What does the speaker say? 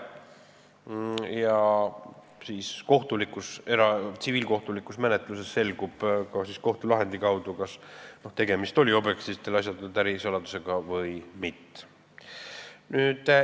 Ja tsiviilkohtulikus menetluses selgub kohtulahendi kaudu, kas objektiivsetel asjaoludel oli tegemist ärisaladusega või mitte.